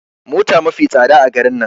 Mota mafi tsada a garin nan